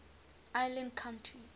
island countries